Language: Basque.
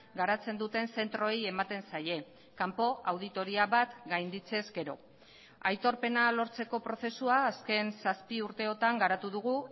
garatzen duten zentroei ematen zaie kanpo auditoria bat gainditze ezkero aitorpena lortzeko prozesua azken zazpi urteotan garatu dugu